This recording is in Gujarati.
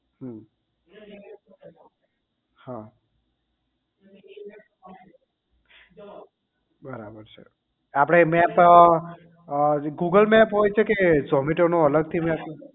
હમ હા બરાબર છે આપડે મેપ અ તો google map હોય છે કે zomato નો અલગ થી map